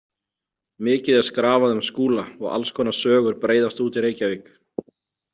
Mikið er skrafað um Skúla og alls konar sögur breiðast út í Reykjavík.